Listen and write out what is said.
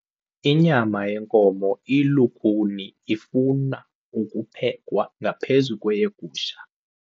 Inyama yenkomo ilukhuni ifuna ukuphekwa ngaphezu kweyegusha.